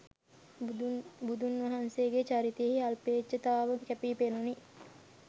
බුදුන් වහන්සේගේ චරිතයෙහි අල්පේච්ඡතාව කැපීපෙනුණි.